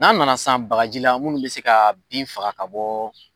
N'an nana san bakarji la munnu bi se ka bin faga ka bɔ